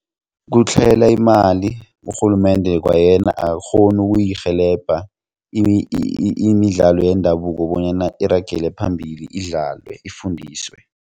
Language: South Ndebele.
Kutlhayela imali urhulumende kwayena akakghoni ukuyirhelebha imidlalo yendabuko bonyana iragele phambili idlalwe ifundiswe.